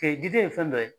gide ye fɛn dɔ ye